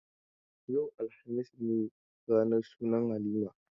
Yau, alhamis ne ranar sunan Halima.